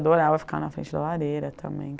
Adorava ficar na frente da lareira também.